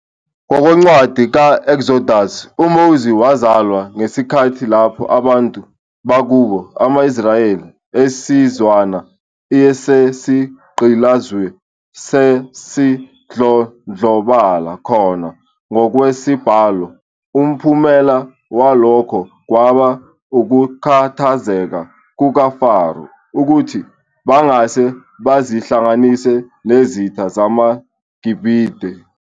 Ngokwencwadi ka-Eksodusi, uMose wazalwa ngesikhathi lapho abantu bakubo, ama-Israyeli, isizwana esasigqilaziwe, sasidlondlobala khona ngokwesibalo, umphumela walokho kwaba ukukhathazeka kukaFaro ukuthi bangase bazihlanganise nezitha zamaGibhithe.